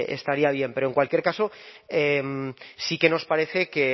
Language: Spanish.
estaría bien pero en cualquier caso sí que nos parece que